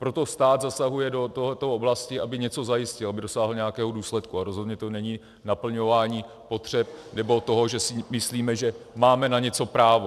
Proto stát zasahuje do této oblasti, aby něco zajistil, aby dosáhl nějakého důsledku, a rozhodně to není naplňování potřeb nebo toho, že si myslíme, že máme na něco právo.